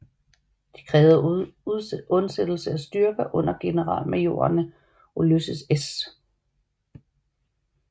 Det krævede undsættelse af styrker under generalmajorerne Ulysses S